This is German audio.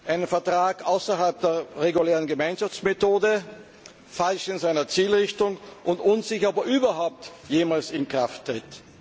Einen Vertrag außerhalb der regulären Gemeinschaftsmethode, falsch in seiner Zielrichtung und unsicher, ob er überhaupt jemals in Kraft tritt.